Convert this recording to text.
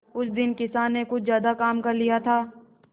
उस दिन किसान ने कुछ ज्यादा काम कर लिया था